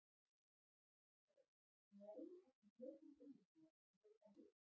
Lóa: Nei, ekki mjög til umhugsunar, voru það mistök?